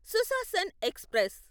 Sushasan express